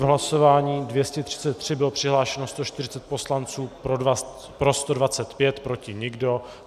V hlasování 233 bylo přihlášeno 140 poslanců, pro 125, proti nikdo.